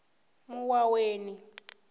muwaweni